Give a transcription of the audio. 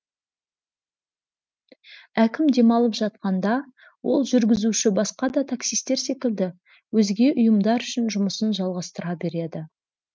әкім демалып жатқанда ол жүргізуші басқа да таксистер секілді өзге ұйымдар үшін жұмысын жалғастыра береді